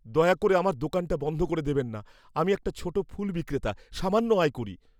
দয়া করে আমার দোকানটা বন্ধ করে দেবেন না। আমি একটা ছোট ফুল বিক্রেতা, সামান্য আয় করি।